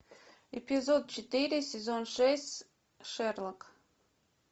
эпизод четыре сезон шесть шерлок